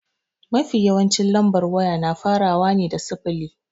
Mafi yawancin lambar waya na farawa ne da sifili.